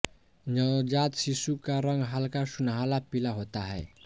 नवजात शिशु का रंग हल्का सुनहला पीला होता है